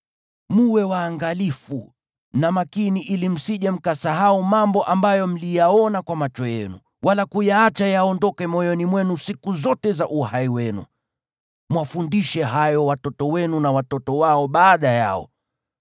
Mwe waangalifu, na makini ili msije mkasahau mambo ambayo mliyaona kwa macho yenu, wala kuyaacha yaondoke moyoni mwenu siku zote za uhai wenu. Mwafundishe hayo watoto wenu na watoto wao baada yao.